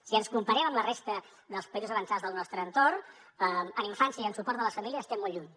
si ens comparem amb la resta dels països avançats del nostre entorn en infància i en suport de les famílies estem molt lluny